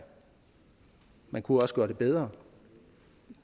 man kunne også gøre det bedre